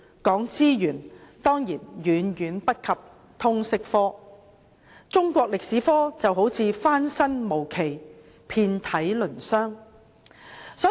在資源方面，當然遠遠不及通識科，中史科就像翻身無期，遍體鱗傷。